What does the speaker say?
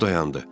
O dayandı.